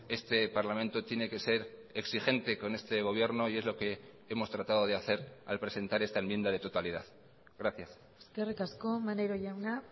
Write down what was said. este parlamento tiene que ser exigente con este gobierno y es lo que hemos tratado de hacer al presentar esta enmienda de totalidad gracias eskerrik asko maneiro jauna